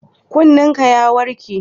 Kunnenka ya warke?